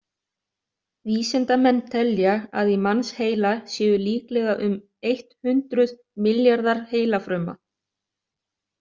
Vísindamenn telja að í mannsheila séu líklega um eitt hundruð milljarðar heilafruma.